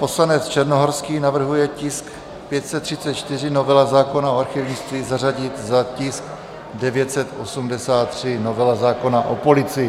Poslanec Černohorský navrhuje tisk 534, novela zákona o archivnictví, zařadit za tisk 983, novela zákona o policii.